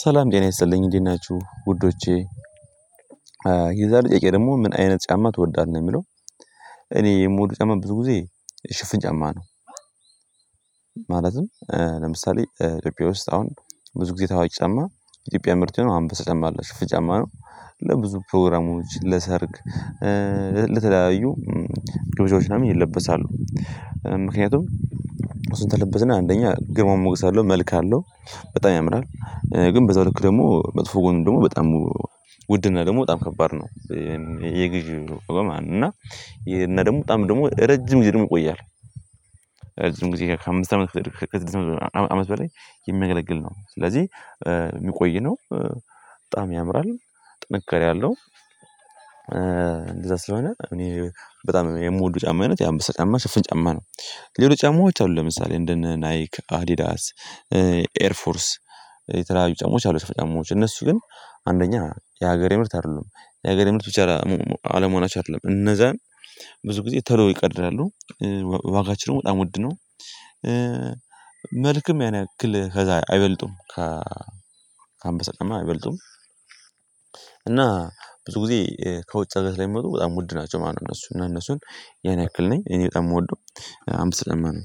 ሰላም ጤና ይሰጥልኝ እንዴት ናችሁ ውዶቼ የዛሬው ጥያቄ ደግሞ ምን አይነት ጫማ ትወዳለህ የሚለው? እኔ የምወድው ጫማ ብዙ ጊዜ ሽፍን ጫማ ነው። ማለትም ለምሳሌ ኢትዮጵያ ውስጥ አሁን ብዙ ጊዜ ተዋዋጭ ጫማ ኢትዮጵያ ምርጥ ነው አንበሳ ጫማ አለ ሽፍን ጫማ ነው። ለብዙ ፕሮግራሞች ለሰርግ ለተለያዩ ግብዣዎች ምናምን ይለበሳሉ ምክንያቱም እሱን ተለበስን አንደኛ ግርማ ሞገስ አለው መልክ አለው በጣም ያምራል። ግን በዛው ልክ ደግሞ መጥፎ ጎን ደግሞ በጣም ውድና ደግሞ በጣም ከባድ ነው። የግዢው በጎ ማን እና ይሄን ደግሞ በጣም ደግሞ ረጅም ጊዜ ደግሞ ይቆያል። ረጅም ጊዜ ከአምስት አመት በላይ የሚያገለግል ነው ስለዚህ የሚቆይ ነው። በጣም ያምራል ጥንካሬ አለው። እንደዛ ስለሆነ እኔ በጣም የምወደው ጫማ አይነት የአምበሳ ጫማ ሽፍን ጫማ ነው። ሌሎች ጫማዎች አሉ ለምሳሌ እንደነ ናይክ አዲዳስ ኤርፎርስ የተለያዩ ጫማዎች አሉ። ጫማዎች እነሱ ግን አንደኛ የሀገሬ ምርት አይደሉም የሀገሬ ምርት ብቻ አለመሆናቸው አይደሉም እነዛን ብዙ ጊዜ ቶሎ ይቀደዳሉ። ዋጋቸው ደግሞ በጣም ወድነው። መልክም ያን ያክል ከዛ አይበልጡም። ከ አንበሳ ጫማ አይበልጡም። እና ብዙ ጊዜ ከውጭ ሀገር ስለሚመጡ በጣም ውድ ናቸው ማለት ነው። እነሱን እነሱን ያን ያክል ነኝ እኔ በጣም የምወደው አምበሳ ጫማ ነው።